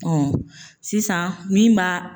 sisan min b'a